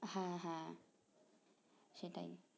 হ্যাঁ, হ্যাঁ সেটাই